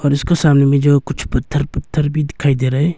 और उसका सामने में जो कुछ पत्थर पत्थर भी दिखाई दे रहा है।